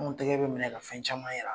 An gɛgɛ bɛ mina ka fɛn caman yira.